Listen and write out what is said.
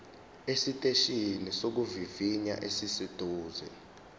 esiteshini sokuvivinya esiseduze